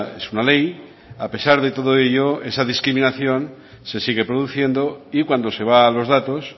es una ley a pesar de todo ello esa discriminación se sigue produciendo y cuando se va a los datos